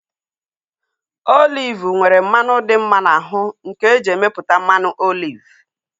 Oliv nwere mmanụ dị mma n'ahu nke eji emeputa mmanụ oliv